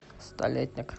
столетник